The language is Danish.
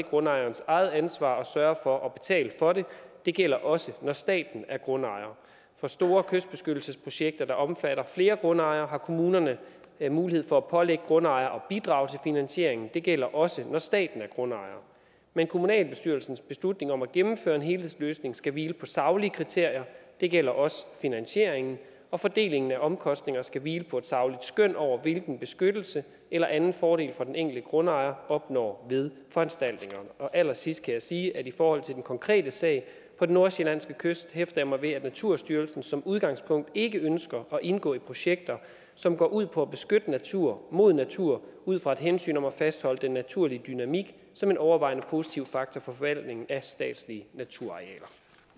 grundejerens eget ansvar at sørge for at betale for det det gælder også når staten er grundejer for store kystbeskyttelsesprojekter der omfatter flere grundejere har kommunerne mulighed for at pålægge grundejere at bidrage til finansieringen det gælder også når staten er grundejer men kommunalbestyrelsens beslutning om at gennemføre en helhedsløsning skal hvile på saglige kriterier og det gælder også finansieringen og fordelingen af omkostninger skal hvile på et sagligt skøn over hvilken beskyttelse eller anden fordel den enkelte grundejer opnår ved foranstaltningerne allersidst skal jeg sige at i forhold til den konkrete sag på den nordsjællandske kyst hæfter jeg mig ved at naturstyrelsen som udgangspunkt ikke ønsker at indgå i projekter som går ud på at beskytte natur mod natur ud fra et hensyn om at fastholde den naturlige dynamik som en overvejende positiv faktor for forvaltningen af statslige naturarealer